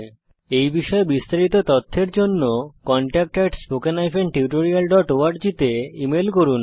এই বিষয়ে বিস্তারিত তথ্যের জন্য contact at spoken hyphen tutorial dot org তে ইমেল করুন